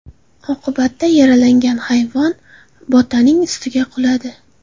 Oqibatda yaralangan hayvon Botaning ustiga quladi.